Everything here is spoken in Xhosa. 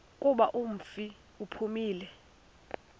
kuba umfi uphumile